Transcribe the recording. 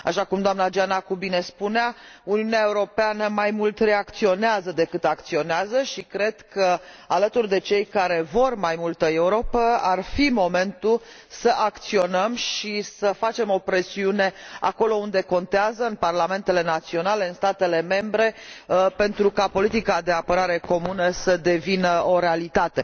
Așa cum doamna Giannakou bine spunea, Uniunea Europeană mai mult reacționează decât acționează și cred că alături de cei care vor mai multă Europă ar fi momentul să acționăm și să facem o presiune acolo unde contează în parlamentele naționale, în statele membre, pentru ca politica de apărare comună să devină o realitate.